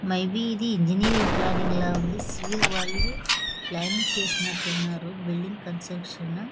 May be engineering learning ల ఉందిసివిల్ వాళ్ళు ప్లానింగ్ చేసినారు ఉన్నారు బిల్డింగ్ కన్స్ట్రక్షన్ .